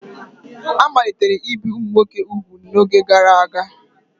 A malitere ibe ụmụ nwoke ugwu n'oge gara aga